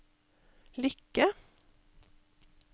lykke